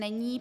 Není.